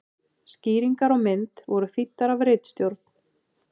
Skýringar á mynd voru þýddar af ritstjórn.